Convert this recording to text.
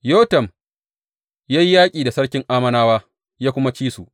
Yotam ya yi yaƙi da sarkin Ammonawa ya kuma ci su.